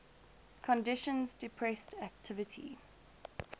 conditions depressed activity